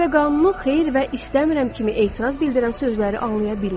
Cazibə qanunu xeyr və istəmirəm kimi etiraz bildirən sözləri anlaya bilmir.